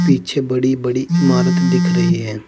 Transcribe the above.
पीछे बड़ी बड़ी इमारत दिख रही है।